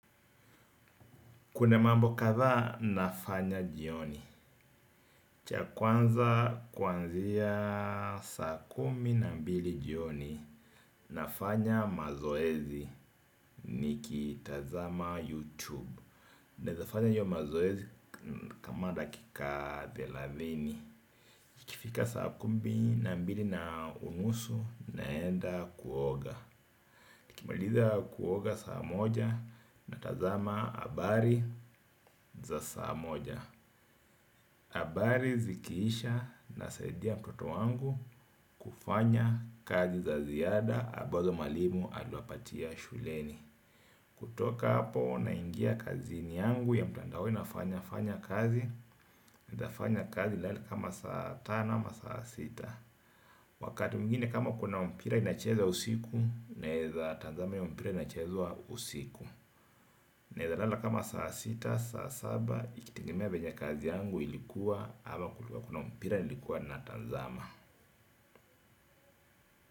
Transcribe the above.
Kuna mambo kadhaa nafanya jioni. Cha kwanza kuanzia saa kumi na mbili jioni nafanya mazoezi nikitazama YouTube. Naeza fanya hiyo mazoezi kama dakika thelathini. Ikifika saa kumi na mbili na unusu naenda kuoga. Nikimaliza kuoga saa moja natazama habari za saa moja. Habari zikiisha nasaidia mtoto wangu kufanya kazi za ziada ambazo mwalimu aliwapatia shuleni. Kutoka hapo naingia kazini yangu ya mtandao nafanyafanya kazi naeza fanya kazi nilale kama saa tano ama saa sita. Wakati mwingine kama kuna mpira inachezwa usiku naeza tazama hiyo mpira inachezwa usiku. Naeza lala kama saa sita, saa saba, ikitegemea venye kazi yangu ilikuwa ama kuna mpira nilikuwa natazama.